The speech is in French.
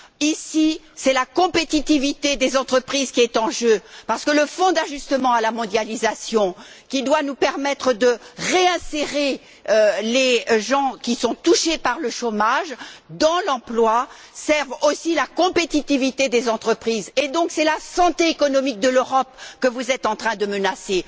Ici, c'est la compétitivité des entreprises qui est en jeu, parce que le Fonds d'ajustement à la mondialisation, qui doit nous permettre de réinsérer sur le marché de l'emploi les personnes qui sont touchées par le chômage, sert aussi la compétitivité des entreprises, et donc c'est la santé économique de l'Europe que vous êtes en train de menacer.